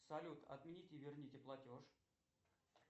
салют отмените и верните платеж